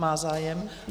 Má zájem?